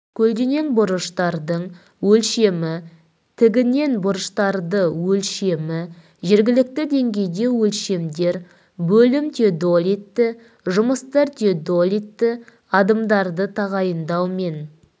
көлденең бұрыштардың өлшемі тігінен бұрыштарды өлшемі жергілікті деңгейде өлшемдер бөлім теодолитті жұмыстар теодолитті адымдарды тағайындау мен